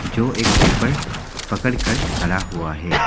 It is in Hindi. जो एक पेपर पकड़कर खड़ा हुआ हैं।